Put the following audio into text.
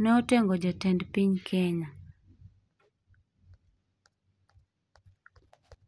ne otengo Jatend piny Kenya.